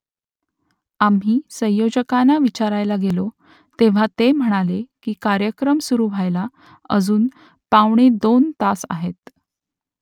आम्ही संयोजकांना विचारायला गेलो तेव्हा ते म्हणाले की कार्यक्रम सुरू व्हायला अजून पावणे दोन तास आहेत